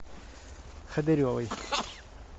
ходыревой